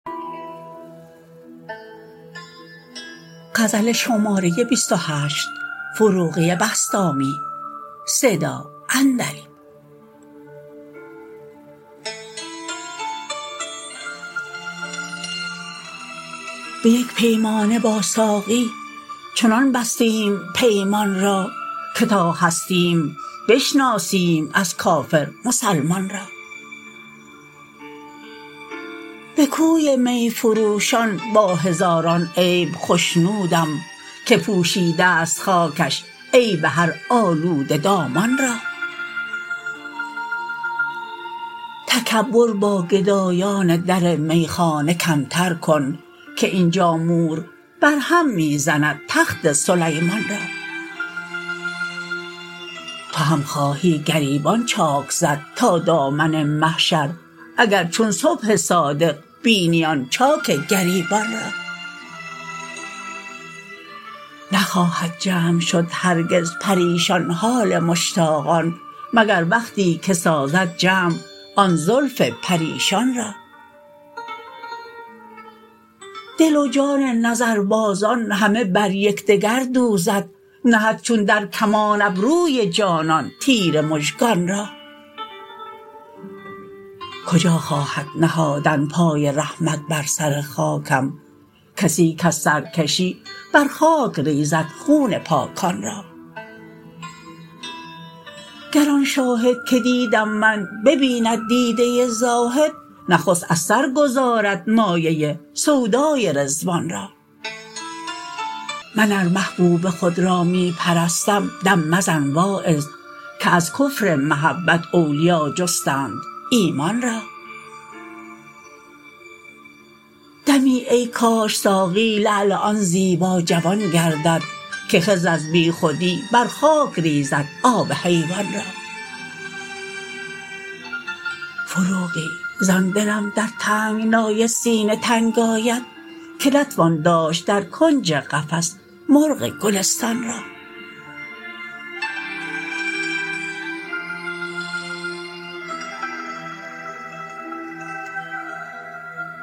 به یک پیمانه با ساقی چنان بستیم پیمان را که تا هستیم بشناسیم از کافر مسلمان را به کوی می فروشان با هزاران عیب خوشنودم که پوشیده ست خاکش عیب هر آلوده دامان را تکبر با گدایان در میخانه کمتر کن که اینجا مور بر هم می زند تخت سلیمان را تو هم خواهی گریبان چاک زد تا دامن محشر اگر چون صبح صادق بینی آن چاک گریبان را نخواهد جمع شد هرگز پریشان حال مشتاقان مگر وقتی که سازد جمع آن زلف پریشان را دل و جان نظر بازان همه بر یکدگر دوزد نهد چون در کمان ابروی جانان تیر مژگان را کجا خواهد نهادن پای رحمت بر سر خاکم کسی کز سرکشی برخاک ریزد خون پاکان را گر آن شاهد که دیدم من ببیند دیده زاهد نخست از سرگذارد مایه سودای رضوان را من ار محبوب خود را می پرستم دم مزن واعظ که از کفر محبت اولیا جستند ایمان را دمی ای کاش ساقی لعل آن زیبا جوان گردد که خضر از بی خودی بر خاک ریزد آب حیوان را فروغی زان دلم در تنگنای سینه تنگ آید که نتوان داشت در کنج قفس مرغ گلستان را